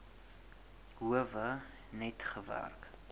howe net gewerk